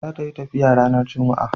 za ta yi tafiya ranar jumma'a